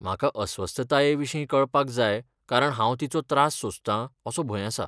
म्हाका अस्वस्थताये विशीं कळपाक जाय कारण हांव तिचो त्रास सोंसतां असो भंय आसा.